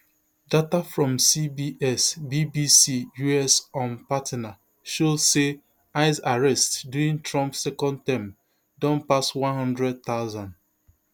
data from CBS BBC US um partner show say ice arrests during trump second term don pass one hundred thousand